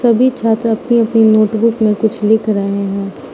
सभी छात्र अपनी अपनी नोटबुक में कुछ लिख रहे हैं।